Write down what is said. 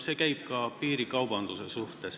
See käib ka piirikaubanduse kohta.